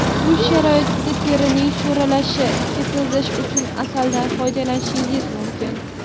Uy sharoitida terining sho‘ralashini ketkizish uchun asaldan foydalanishingiz mumkin.